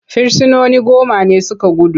Firsinoni goma ne su ka gudu.